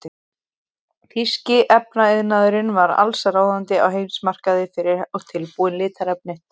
Þýski efnaiðnaðurinn var allsráðandi á heimsmarkaði fyrir tilbúin litarefni.